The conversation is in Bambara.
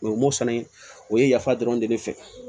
O ye mosani o ye yafa dɔrɔn de fɛ